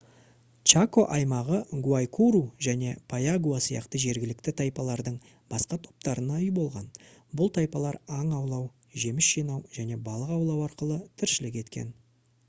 чако аймағы гуайкуру және пайагуа сияқты жергілікті тайпалардың басқа топтарына үй болған бұл тайпалар аң аулау жеміс жинау және балық аулау арқылы тіршілік еткен